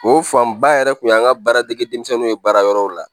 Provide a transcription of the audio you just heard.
O fanba yɛrɛ tun y'an ka baara dege denmisɛnw ye baara yɔrɔw la